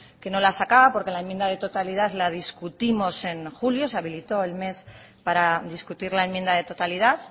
que no la sacaba porque la enmienda de la totalidad la discutimos en julio se habilitó el mes para discutir la enmienda de totalidad